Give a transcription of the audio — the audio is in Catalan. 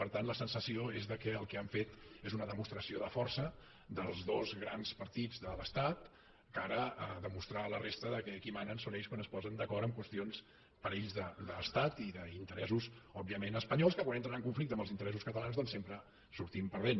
per tant la sensació és que el que han fet és una demostració de força dels dos grans partits de l’estat de cara a demostrar a la resta que qui manen són ells quan es posen d’acord en qüestions per ells d’estat i d’interessos òbviament espanyols que quan entren en conflicte amb els interessos catalans doncs sempre hi sortim perdent